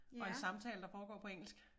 Og en samtale der foregår på engelsk